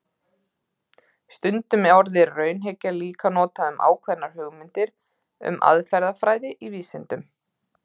Stundum er orðið raunhyggja líka notað um ákveðnar hugmyndir um aðferðafræði í vísindum.